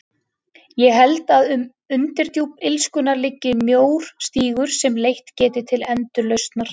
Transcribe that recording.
Ég held að um undirdjúp illskunnar liggi mjór stígur sem leitt geti til endurlausnar.